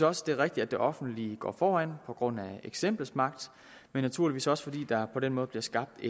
også det er rigtigt at det offentlige går foran på grund af eksemplets magt men naturligvis også at der på den måde bliver skabt